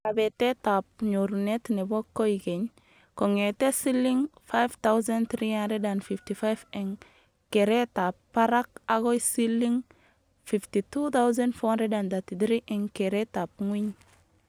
Kabetetab nyorunet nebo koykeny kongetee siling.5355 eng keretab barak akoi siling.52433 eng keretab ngwiny